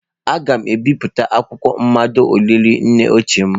Aga m ebipụta akwụkwọ mmado olili nne ochie m.